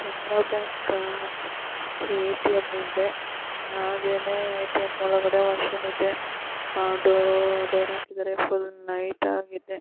ಕೆನರಾ ಬ್ಯಾಂಕಾ ಎ.ಟಿ.ಎಂ ಇದೆ. ಆಗೇನೇ ಎ.ಟಿ.ಎಂ ಒಳಗಡೆ ಮಷಿನ್ ಇದೆ. ಆ-ಡೋರೂ ಡೋರ್ ಆಕಿದರೆ ಫುಲ್ಲು ನೈಟ್ ಆಗಿದೆ.